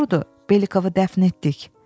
Doğrudur, Belikovu dəfn etdik.